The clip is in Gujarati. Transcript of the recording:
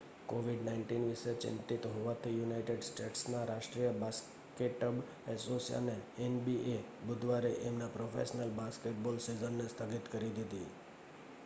covid-19 વિષે ચિંતિત હોવાથી યુનાઈટેડ સ્ટેટ્સના રાષ્ટ્રીય બાસ્કેટબ એસોસિએશને એનબીએ બુધવારે એમનાં પ્રોફેશનલ બાસ્કેટબોલ સીઝનને સ્થગિત કરી દીધી